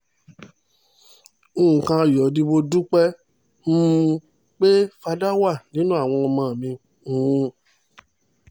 nǹkan ayọ̀ ni mo dúpẹ́ um pé fadá wà nínú àwọn ọmọ mi um